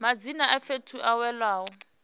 madzina a fhethu a welaho